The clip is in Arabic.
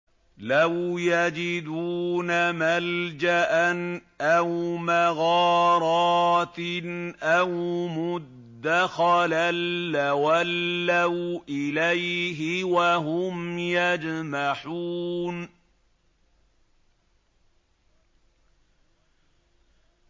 لَوْ يَجِدُونَ مَلْجَأً أَوْ مَغَارَاتٍ أَوْ مُدَّخَلًا لَّوَلَّوْا إِلَيْهِ وَهُمْ يَجْمَحُونَ